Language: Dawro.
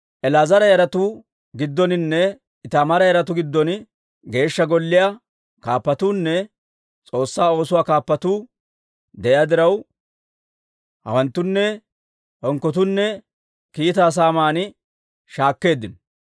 El"aazara yaratuu giddoninne Itaamaara yaratuu giddon Geeshsha Golliyaw kaappatuunne S'oossaa oosoo kaappatuu de'iyaa diraw, hawanttunne hinkkotuunne kiitaa saaman shaakkeeddino.